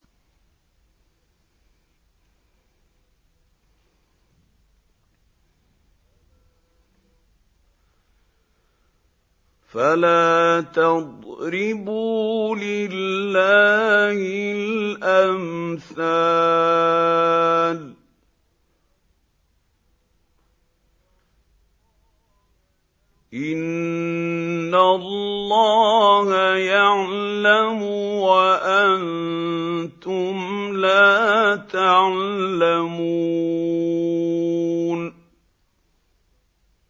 فَلَا تَضْرِبُوا لِلَّهِ الْأَمْثَالَ ۚ إِنَّ اللَّهَ يَعْلَمُ وَأَنتُمْ لَا تَعْلَمُونَ